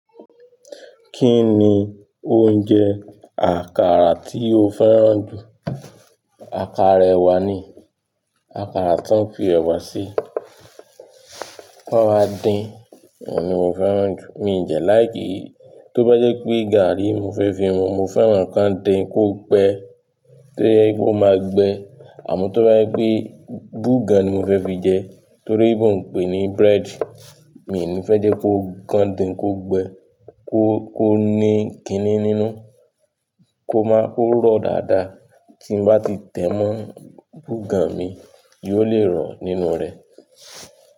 Kí ni oúnjẹ àkàrà tí o fẹ́ràn jù? Àkàrà ẹwà ni, àkàrà tó ń fi ẹwà sí, tí wọ́n wa dín, òun ni mo fẹ́ràn jù. Mi jẹ̀ like. Tó bá jẹ́ pé gàárì mo fẹ́ fi mu, mo fẹ́ràn kí wọ́n dín kó gbẹ́, tó yẹ́ pe ó máa gbẹ. Àmọ́ tó bá yẹ́ pé búgàn ni mo fẹ́ fi jẹ, toloyinbo ń pè é ní bread, mi ní fẹ́ jẹ́ kó gan din kó gbẹ, kó, kó ní kiní nínú, kó má, kó rọ̀ dáadáa tí n bá ti tẹ́ mọ́ búgàn mi yóò le rọ̀ nínú rẹ̀.